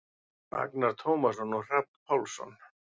Agnar Tómasson og Hrafn Pálsson.